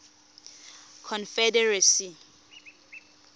confederacy